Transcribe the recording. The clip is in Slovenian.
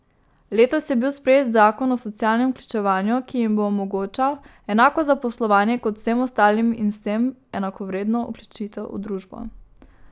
Letos je bil sprejet zakon o socialnem vključevanju, ki jim bo omogočal enako zaposlovanje kot vsem ostalim in s tem enakovredno vključitev v družbo.